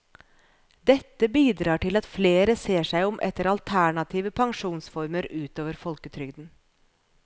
Dette bidrar til at flere ser seg om etter alternative pensjonsformer utover folketrygden.